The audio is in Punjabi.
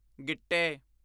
ਗਿੱਟੇ